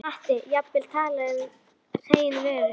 Mátti jafnvel tala um hrein vörusvik.